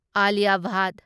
Alia Bhatt